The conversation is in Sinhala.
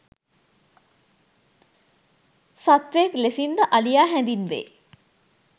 සත්වයෙක් ලෙසින් ද අලියා හැඳින්වේ.